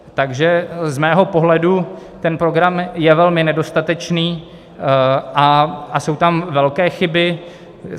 Takže z mého pohledu ten program je velmi nedostatečný a jsou tam velké chyby.